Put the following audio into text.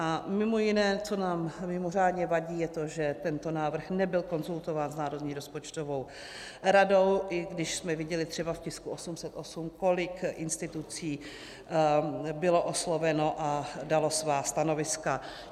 A mimo jiné, co nám mimořádně vadí, je to, že tento návrh nebyl konzultován s Národní rozpočtovou radou, i když jsme viděli třeba v tisku 808, kolik institucí bylo osloveno a dalo svá stanoviska.